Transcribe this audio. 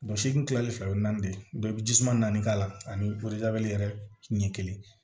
n kilalen fɛ o ye naani de ye i bɛ jisuman naani k'a la ani yɛrɛ ɲɛ kelen